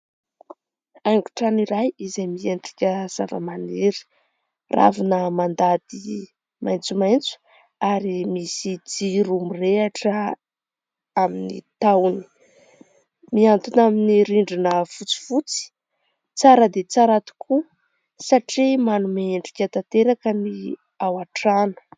Haingo trano iray izay miendrika zava-maniry. Ravina mandady maitsomaitso ary misy jiro mirehatra amin'ny tahony, miantona amin'ny rindrina fotsifotsy. Tsara dia tsara tokoa satria manome endrika tanteraka ny ao an-trano.